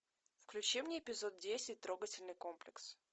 включи мне эпизод десять трогательный комплекс